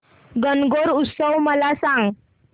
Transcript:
गणगौर उत्सव मला सांग